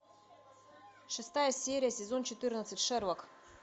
шестая серия сезон четырнадцать шерлок